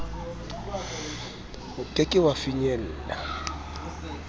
o ke ke wa finyella